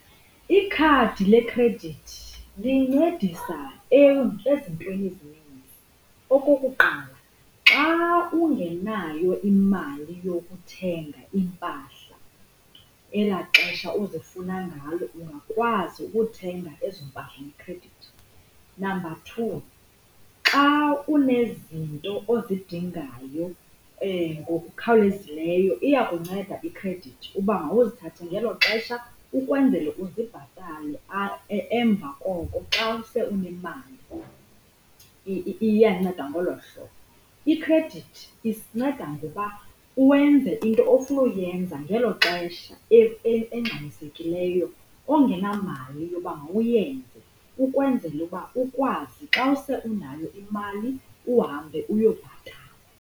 Ikhadi lekhredithi lincedisa ezintweni ezininzi. Okokuqala, xa ungenayo imali yokuthenga iimpahla ela xesha uzifuna ngalo ungakwazi ukuthenga ezo mpahla ngekhredithi. Number two, xa unezinto ozidingayo ngokukhawulezileyo iyakunceda iikhredithi uba mawuzithathe ngelo xesha ukwenzele uzibhatale emva koko xa use unemali, iyanceda ngolo hlobo. Ikhredithi isinceda ngokuba uwenze into ofuna uyenza ngelo xesha engxamisekileyo ongenamali yokuba mawuyenze ukwenzela ukuba ukwazi xa use unayo imali uhambe uyobhatala.